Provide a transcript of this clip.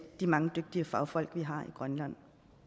de mange dygtige fagfolk vi har i grønland